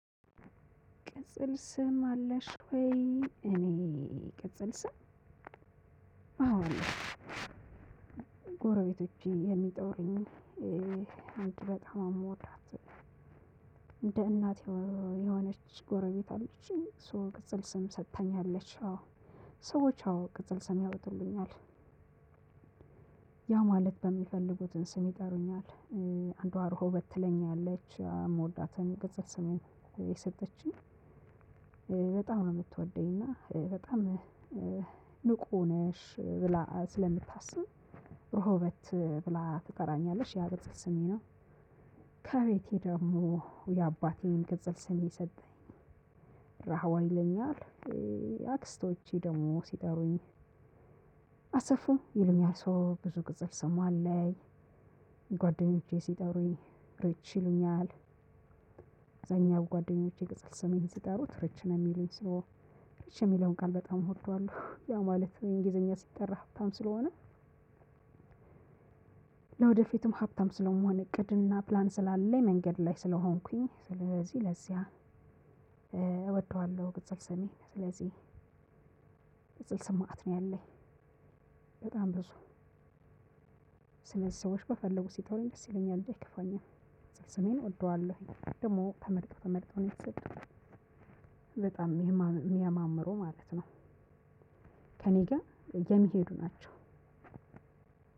ቅጽል ስም አለሽ ወይ? እኔ ቅጽል ስም። አዎ ጎረቤቶቼ የሚጠውሩኝ አንድ በጣም አምወዳት እንደ እናቴ የሆነች ጎረቤት አለችኝ። ሶ ቅጽል ስም ሰጥታኛለች። አዎ ሰዎች አዎ ቅጽል ስም ያውጡልኛል። ያ ማለት በሚፈልጉትን ስም ይጠሩኛል። አንዷ ሮሆበት ትለኛለች የምወዳትን ቅጽል ስሜ። የሰጠችኝ በጣም ነው የምትወደኝ እና በጣም ንቁ ነሽ ብላ ስለምታስብ ሮሆበት ብላ ትጠራኛለች ያ ቅጽል ስሜ ነው። ከቤቴ ደግሞ የአባቴን ቅጽል ስም የሰጠኝ ራህዋ ይለኛል። አክስቶቼ ደግሞ ሲጠሩኝ አሰፉ ይሉኛል ሰው ብዙ ቅጽል ስም አለኝ። ጓደኞቼ ሲጠሩኝ ሪች ይሉኛል። አብዘኛው ጓደኞቼ ቅጽል ሰሜን ሲጠሩር ሪች ነው የሚሉኝ ሰው ሪች የሚለውን ቃል በጣም እወደዋለው ያ ማለት በእንግሊዘኛ ሲጠራ ሀብታም ስለሆነ። ለወደፊትም ሀብታም ስለምሆን እቅድ እና ፕላን ስላለኝ መንገድ ላይ ስለሆንኩኝ ስለዚህ ለዚያ እወደዋለው። ቅጽል ሰሜ ስለዚህ ቅጽል ስም መአት ነው ያለኝ። በጣም ብዙ ስለዚ ሰዎች በፈለጉ ሲጠሩኝ ደስ ይለኛል እንጂ አይከፋኝም። ስሜን እወደዋለሁኝ ደግሞ ተመርጦ ተመርጦ ነው የተሰጠው በጣም የሚያማምሩ ማለት ነው። ከእኔ ጋር የሚሄዱ ናቸው።